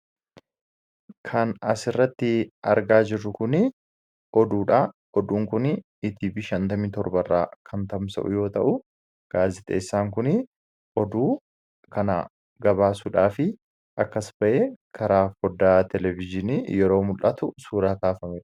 Kan asirratti argaa jirru kun oduudha. Oduun kun ETV 57 irraa kan tamsa'u yommuu ta'u, gaazexeessaan kun oduu kana tamsaasuudhaaf achii as bahee karaa foddaa televizyiinii yeroo muk'atu suuraa kaafamedha.